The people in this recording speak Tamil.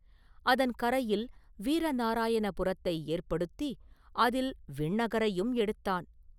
அதன் கரையில் வீரநாராயண புரத்தை ஏற்படுத்தி அதில் ஒரு விண்ணகரையும் எடுத்தான்.